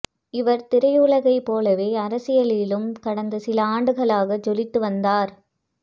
இவர் திரையுலகை போலவே அரசியலிலும் கடந்த சில ஆண்டுகளாக ஜொலித்து வந்தார்